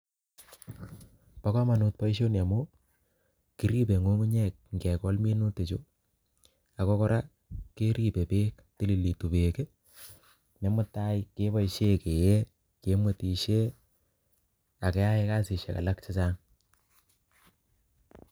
Bo komonut boisoni amuu, kiribe ng'ung'unyek ngegol minutik chu, ago gora, keribe beek, tililitu beek, ne mutai keboisie kee, kemwetishie, akeae kasishiek chechang